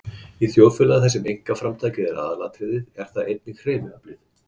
Í þjóðfélagi, þar sem einkaframtakið er aðalatriðið, er það einnig hreyfiaflið.